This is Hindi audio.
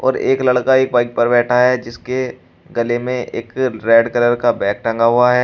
और एक लड़का एक बाइक पर बैठा है जिसके गले में एक रेड कलर का बैग टंगा हुआ है।